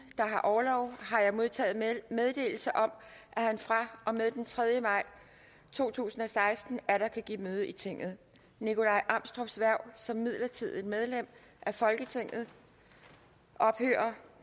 der har orlov har jeg modtaget meddelelse om at han fra og med den tredje maj to tusind og seksten atter kan give møde i tinget nikolaj amstrups hverv som midlertidigt medlem af folketinget ophører